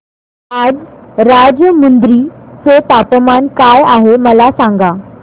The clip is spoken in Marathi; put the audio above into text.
आज राजमुंद्री चे तापमान काय आहे मला सांगा